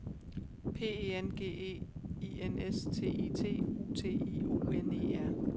P E N G E I N S T I T U T I O N E R